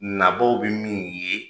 Nabaw bɛ min ye